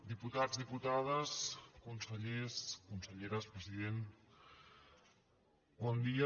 diputats diputades consellers conselleres president bon dia